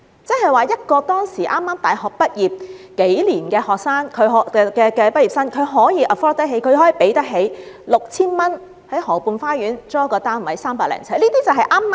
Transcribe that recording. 亦即是說，當時一個畢業數年的大學生可以 afford 得起花 6,000 元在河畔花園租住一個300多呎的單位。